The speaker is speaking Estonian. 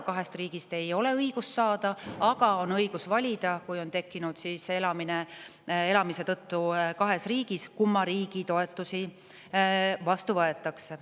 Kahest riigist korraga ei ole õigust saada, aga kui elatakse kahes riigis, siis on õigus valida, kumma riigi toetusi vastu võetakse.